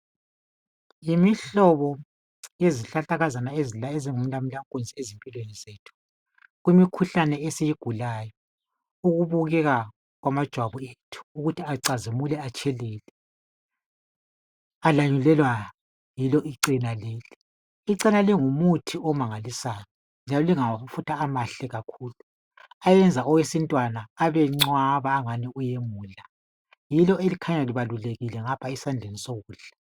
Yimihlobo yezihlahlakazana ezingumalamulankunzi ezimpilweni zethu kumikhuhlane esiyigulayo, ukubukeka kwamajwabu ethu ukuthi acazimule atshelele, alanyulelwa yilo icena leli. Icena lingumuthi omangalisayo njalo lingamafutha amahle kakhulu ayenza owesintwana abencwaba kakhulu engathi uyemula.